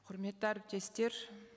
құрметті әріптестер